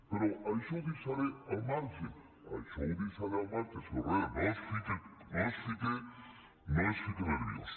però això ho deixaré al marge això ho deixaré al marge senyor herrera no es fique nerviós